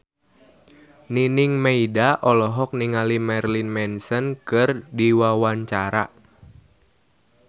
Nining Meida olohok ningali Marilyn Manson keur diwawancara